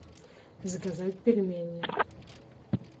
заказать пельмени